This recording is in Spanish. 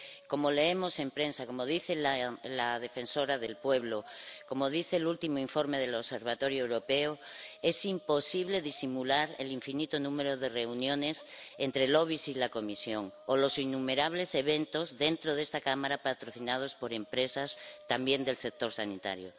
Como leemos en prensa, como dice la defensora del pueblo, como dice el último informe del Observatorio Europeo, es imposible disimular el infinito número de reuniones entre lobbies y la Comisión. O los innumerables eventos, dentro de esta Cámara, patrocinados por empresas también del sector sanitario.